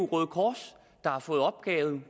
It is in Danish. røde kors der har fået opgaven